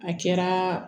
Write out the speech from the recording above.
A kɛra